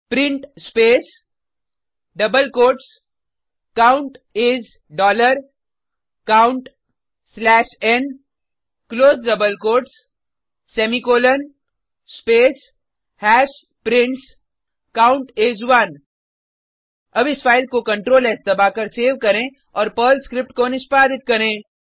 print space double quotes count is dollar count slash n close double quotes semicolon space hash prints count is 1 अब इस file को CTLR S दबाकर save करें और Perl script को निष्पादित करें